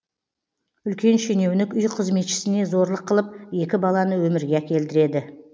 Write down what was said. үлкен шенеунік үй қызметшісіне зорлық қылып екі баланы өмірге әкелдіреді